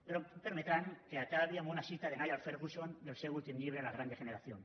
però em permetran que acabi amb una cita de niall ferguson del seu últim llibre la gran degeneración